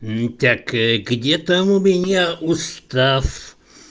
ну так где там у меня устав